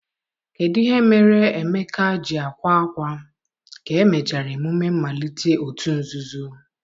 kedụ ihe mere Emeka ji akwa akwa ka e mechara emume mmalite òtù nzuzo?